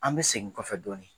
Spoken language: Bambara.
An bɛ segin kɔfɛ dɔɔnin.